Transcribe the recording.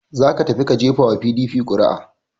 Za ka tafi ka gefa wa PDP ƙuri'a!